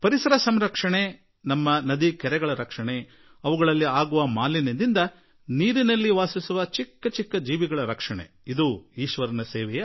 ಪರಿಸರ ರಕ್ಷಣೆ ನಮ್ಮ ನದಿ ಕೆರೆಗಳ ರಕ್ಷಣೆ ಅವುಗಳಲ್ಲಾಗುವ ಮಾಲಿನ್ಯದಿಂದ ಆ ನೀರಿನಲ್ಲಿ ವಾಸಿಸುವ ಸಣ್ಣ ಸೂಕ್ಷ್ಮ ಸಣ್ಣ ಜೀವಿಗಳ ರಕ್ಷಣೆ ಇದೂ ಕೂಡಾ ಈಶ್ವರನ ಸೇವೆಯೇ ಆಗುತ್ತದೆ